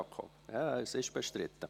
– Ja, es ist bestritten.